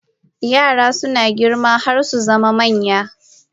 Yara suna girma har su zama manya